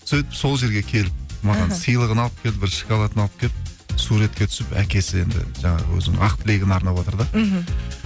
сөйтіп сол жерге келіп маған сыйлығын алып келді бір шоколадын алып келіп суретке түсіп әкесі енді жаңағы өзінің ақ тілегін арнаватыр да мхм